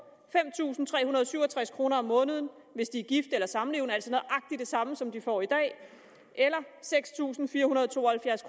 fem tusind tre hundrede og syv og tres kroner om måneden hvis de er gift eller samlevende altså nøjagtig det samme som de får i dag eller seks tusind fire hundrede og to og halvfjerds